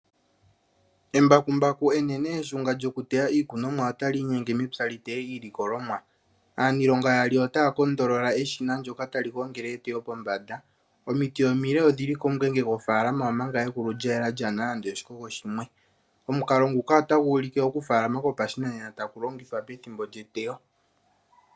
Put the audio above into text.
Embakumbaku enene eshunga lyokuteya iikunomwa otali inyenge mepya li teye iilikolomwa. Aaniilonga yaali otaa kondolola eshina ndyoka tali gongele eteyo pombanda. Omiti omile odhi li komungenge gofaalama, omanga egulu lya yela lyaa na nande oshikogo shimwe. Omukalo nguka otagu ulike okufaalama kwopashinanena tagu longithwa pethimbo lyeteyo.